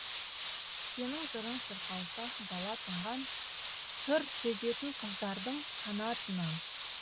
сенің жырың шырқалса дала тынған сыр сезетін қаздардың қанатынан